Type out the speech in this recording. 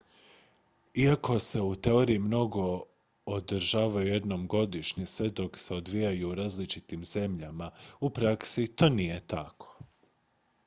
iako se u teoriji mogu održavati jednom godišnje sve dok se odvijaju u različitim zemljama u praksi to nije tako